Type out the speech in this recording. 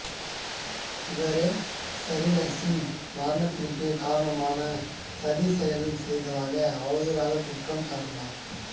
இவரே சாரிலாசின் மரணத்திற்கு காரணமான சதி செய்ததாக அவதூறாக குற்றம் சாட்டினர்